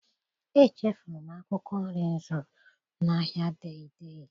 Echefuru m akwụkwọ nri m zụrụ n'ahịa Dei Dei.